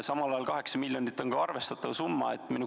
Samal ajal on 8 miljonit arvestatav summa.